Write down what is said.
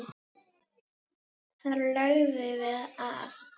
Þar lögðum við að.